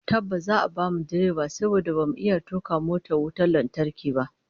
Tabbas, za'a bamu direba saboda bamu iya tuka motar wutar lantarki ba